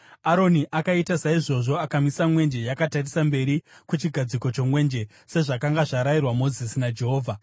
Aroni akaita saizvozvo; akamisa mwenje yakatarisa mberi kuchigadziko chomwenje, sezvakanga zvarayirwa Mozisi naJehovha.